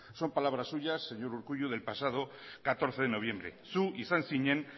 son palabras suyas señor urkullu del pasado catorce de noviembre zu izan zinen